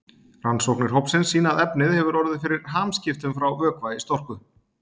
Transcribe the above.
Rannsóknir hópsins sýna að efnið hefur orðið fyrir hamskiptum frá vökva í storku.